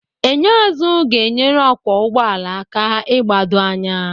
Enyo azụ ga-enyere ọkwọ ụgbọala aka ịgbado anya.